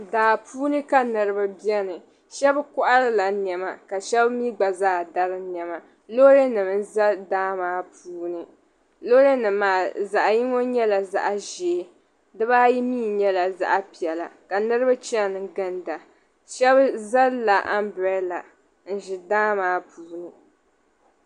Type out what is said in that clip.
Daa puuni ka niribi bieni. Shɛb' kɔhiri la niɛma ka shɛba mi gba zaa dari niɛma. Loori nim n-za daa maa puuni. Loori nim maa zaɣ' yino nyɛla zaɣa ʒee, dibaayi mi nyɛla zaɣa piɛla.